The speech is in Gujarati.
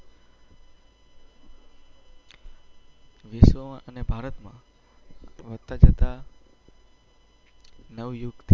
અને ભારત માં વધતા જતા. નવયુગ.